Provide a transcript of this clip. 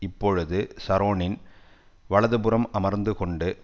இப்பொழுது ஷரோனின் வலது புறம் அமர்ந்து கொண்டு